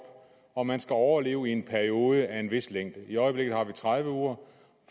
og man skal overleve i en periode af en vis længde i øjeblikket har vi tredive uger